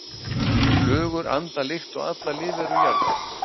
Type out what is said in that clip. Flugur anda líkt og allar lífverur jarðar.